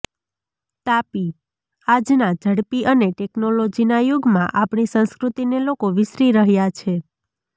તાપીઃ આજના ઝડપી અને ટેક્નોલોજીના યુગમાં આપણી સંસ્કૃતિને લોકો વિસરી રહ્યા છે